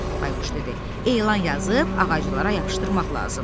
Bayquş dedi: Elan yazıb ağaclara yapışdırmaq lazımdır.